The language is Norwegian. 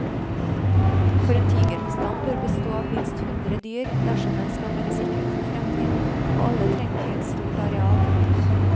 For en tigerbestand bør bestå av minst hundre dyr dersom den skal være sikret for fremtiden, og alle trenger de et stort areal.